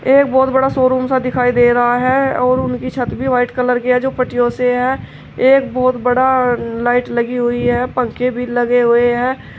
एक बहुत बड़ा शोरूम सा दिखाई दे रहा है और उनकी छत भी वाइट कलर की है जो पट्टियों से है एक बहुत बड़ा लाइट लगी हुई है पंखे भी लगे हुए हैं।